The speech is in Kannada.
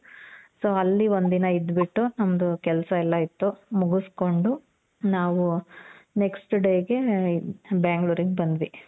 so ಅಲ್ಲಿ ಒಂದಿನ ಇದ್ದು ಬಿಟ್ಟು ನಮ್ದು ಕೆಲ್ಸ ಎಲ್ಲಾ ಇತ್ತು ಮುಗುಸ್ಕೊಂಡು, ನಾವು next day ಗೆ ಬ್ಯಾಂಗ್ಳೂರಿಗ್ ಬಂದ್ವಿ.